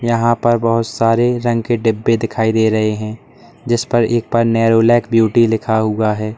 यहां पर बहुत सारे रंग के डिब्बे दिखाई दे रहे हैं जिस पर एक पर नैरोलैक ब्यूटी लिखा हुआ है।